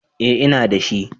Eh, ina da shi.